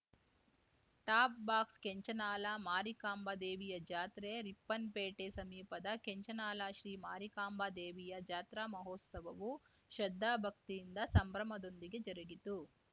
ಟಾಪ್‌ಬಾಕ್ಸ ಕೆಂಚನಾಲ ಮಾರಿಕಾಂಬಾ ದೇವಿಯ ಜಾತ್ರೆ ರಿಪ್ಪನ್‌ಪೇಟೆ ಸಮೀಪದ ಕೆಂಚನಾಲ ಶ್ರೀ ಮಾರಿಕಾಂಬಾ ದೇವಿಯ ಜಾತ್ರಾ ಮಹೋತ್ಸವವು ಶ್ರದ್ದಾಭಕ್ತಿಯಿಂದ ಸಂಭ್ರಮದೊಂದಿಗೆ ಜರುಗಿತು